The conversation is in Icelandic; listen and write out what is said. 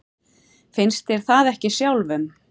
Mér finnst það ekki sjálfum.